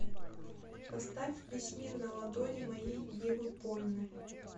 поставь весь мир на ладони моей евы польны